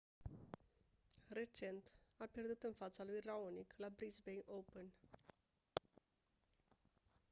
recent a pierdut în fața lui raonic la brisbane open